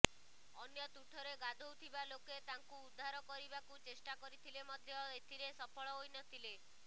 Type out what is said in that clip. ଅନ୍ୟ ତୁଠରେ ଗାଧୋଉଥିବା ଲୋକେ ତାଙ୍କୁ ଉଦ୍ଧାର କରିବାକୁ ଚେଷ୍ଟା କରିଥିଲେ ମଧ୍ୟ ଏଥିରେ ସଫଳ ହୋଇନଥିଲେ